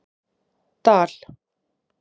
Dal